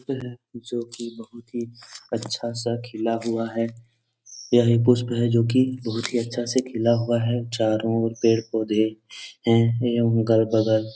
प है जो कि बहुत ही अच्छा सा खिला हुआ है। यह एक पुष्प है जो कि बहुत ही अच्छा से खिला हुआ है। चारों और पेड़-पोधे हैं एवं गर बगल --